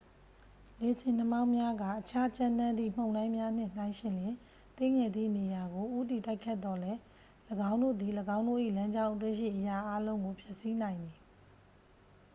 လေဆင်နှာမောင်းများက အခြားကြမ်းတမ်းသည့် မုန်တိုင်းများနှင့် နှိုင်းယှဉ်လျှင် သေးငယ်သည့်နေရာကို ဦးတည်တိုက်ခတ်သော်လည်း ၎င်းတို့သည် ၎င်းတို့၏ လမ်းကြောင်းအတွင်းရှိ အရာအားလုံးကို ဖျက်ဆီးနိုင်သည်